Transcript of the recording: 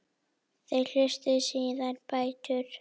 Þeir hlutu síðar bætur.